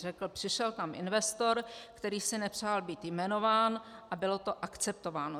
Řekl: Přišel tam investor, který si nepřál být jmenován, a bylo to akceptováno.